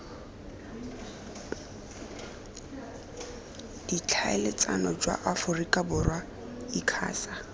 ditlhaeletsano jwa aforika borwa icasa